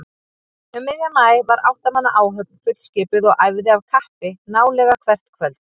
Um miðjan maí var átta manna áhöfn fullskipuð og æfði af kappi nálega hvert kvöld.